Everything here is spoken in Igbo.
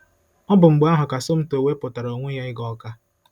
Ọ bụ mgbe ahụ ka Somto wepụtara onwe ya ịga Awka.